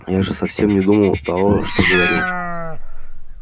я же совсем не думал того что говорил